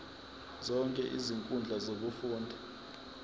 zonke izinkundla zokufunda